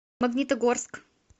магнитогорск